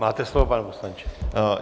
Máte slovo, pane poslanče.